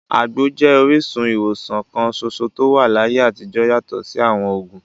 Àgbo jẹ́ orísun ìwòsàn kan ṣoṣo tó wà láyé àtijọ́ yàtọ̀ sí àwọn òògùn.